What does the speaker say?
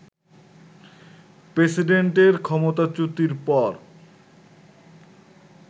প্রেসিডেন্টের ক্ষমতাচ্যুতির পর